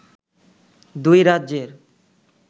দুই রাজ্যের